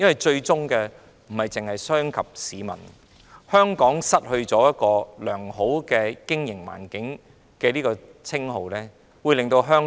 最終不單傷及市民，也會令香港失去良好的經營環境，令香港在自由經濟體系中失色。